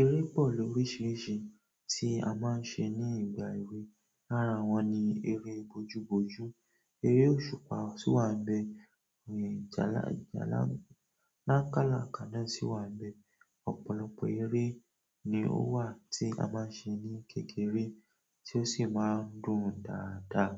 Eré pọ̀ ló ríṣiríṣi tí a máa ń ṣe ní ìgbà èwe. Lára wọ́n ni eré bojúbojú, eré òṣùpá sí wà níbẹ̀, eré ìjálá, ìjálá ńkálàkálà si wà níbẹ̀. Ọ̀pọ̀lọpọ̀ eré ni ó wà tí a máa ń ṣe ní kékeré tí ó sì máa ń dùn dáadáa.